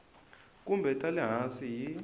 kumbe ta le hansi hi